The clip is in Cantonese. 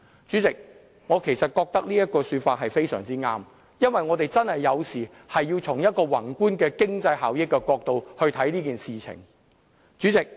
主席，我覺得這說法非常對，因為我們有時候真的要從宏觀的經濟效益的角度來看這件事情。